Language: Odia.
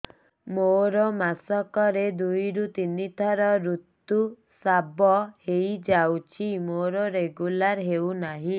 ମୋର ମାସ କ ରେ ଦୁଇ ରୁ ତିନି ଥର ଋତୁଶ୍ରାବ ହେଇଯାଉଛି ମୋର ରେଗୁଲାର ହେଉନାହିଁ